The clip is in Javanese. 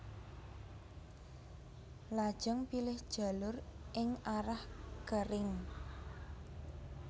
Lajeng pilih jalur ing arah kering